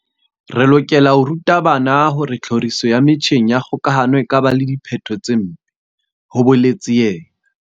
Re lokela ho ruta bana hore tlhoriso ya metjheng ya kgokahano e ka ba le diphetho tse mpe, ho boletse yena.